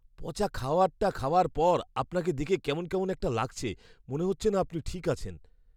পচা খাবারটা খাওয়ার পর আপনাকে দেখে কেমন কেমন একটা লাগছে। মনে হচ্ছে না আপনি ঠিক আছেন!